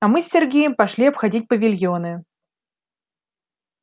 а мы с сергеем пошли обходить павильоны